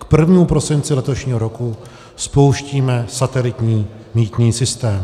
K 1. prosinci letošního roku spouštíme satelitní mýtný systém.